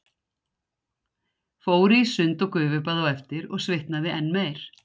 Fór í sund og gufubað á eftir og svitnaði enn meir.